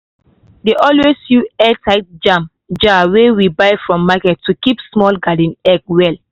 dey always use airtight jam jar wey we buy from market to keep small gardenegg well.